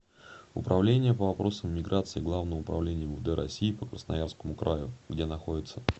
управление по вопросам миграции главного управления мвд россии по красноярскому краю где находится